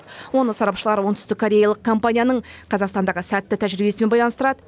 оны сарапшылар оңтүстіккореялық компанияның қазақстандағы сәтті тәжірибесімен байланыстырады